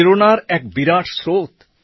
প্রেরণার এক বিরাট স্রোত